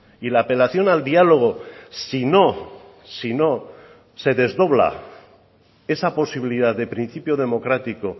y la apelación al diálogo sino sino se desdobla esa posibilidad de principio democrático